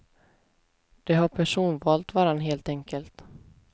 De har personvalt varann, helt enkelt.